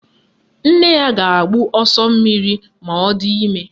Nne ya ga-agbụ ọsọ mmiri ma ọ di ime